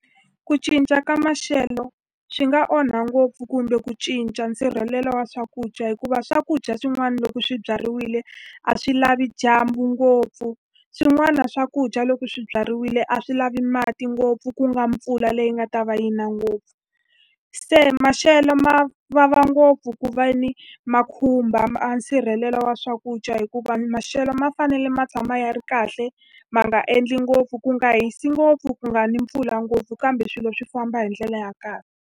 Ku cinca ka maxelo swi nga onha ngopfu kumbe ku cinca nsirhelelo wa swakudya hikuva swakudya swin'wana loko swi byariwile, a swi lavi dyambu ngopfu. Swin'wana swakudya loko swi byariwile a swi lavi mati ngopfu, ku nga mpfula leyi nga ta va yi na ngopfu. Se maxelo ma vava ngopfu hikuva ni ma khumba nsirhelelo wa swakudya hikuva maxelo ma fanele ma tshama ya ri kahle. Ma nga endli ngopfu, ku nga hisi ngopfu, ku nga ni mpfula ngopfu. Kambe swilo swi famba hi ndlela ya kahle.